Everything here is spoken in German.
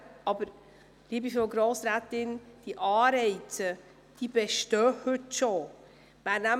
Diese Anreize, liebe Frau Grossrätin Schneider, bestehen bereits heute.